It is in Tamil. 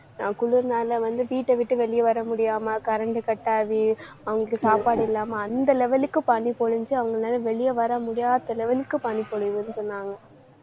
ஆஹ் குளிர்னால வந்து வீட்டை விட்டு வெளிய வர முடியாம current cut ஆகி அவங்களுக்கு சாப்பாடு இல்லாம, அந்த level க்கு பனி பொழிஞ்சு அவங்களால வெளிய வர முடியாத level க்கு பனி பொழிவுன்னு சொன்னாங்க.